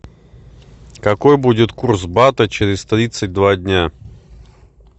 какой будет курс бата через тридцать два дня